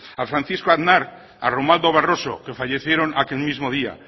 francisco aznar romualdo barroso que fallecieron aquel mismo día